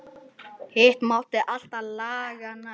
Hitt mátti alltaf laga næst.